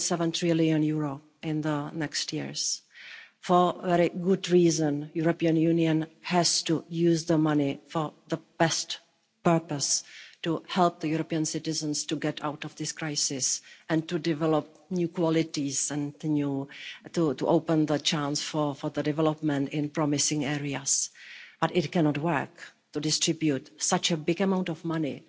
1.7 trillion in the next years for a very good reason the European Union has to use the money for the best purpose to help European citizens to get out of this crisis and to develop new qualities and to open the chance for development in promising areas. But it cannot work to distribute such a big amount of money